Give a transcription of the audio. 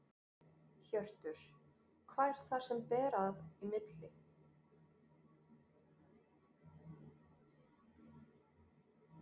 Hjörtur: Hvað er það sem að ber í milli?